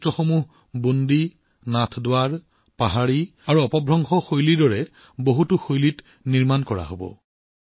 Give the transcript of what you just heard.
এই চিত্ৰসমূহ বুণ্ডী শৈলী নাথদ্বাৰা শৈলী পাহাৰী শৈলী আৰু অপভ্ৰংশ শৈলীৰ দৰে বহুতো সুকীয়া শৈলীত নিৰ্মাণ কৰা হব